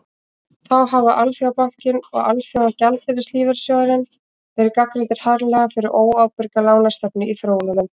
þá hafa alþjóðabankinn og alþjóðagjaldeyrissjóðurinn verið gagnrýndir harðlega fyrir óábyrga lánastefnu í þróunarlöndum